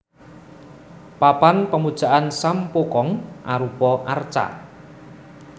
Papan Pemujaan Sam Poo Kong arupa arca